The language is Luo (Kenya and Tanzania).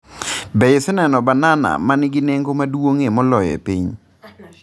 Be iseneno banana ma nigi nengo maduong’ie moloyo e piny?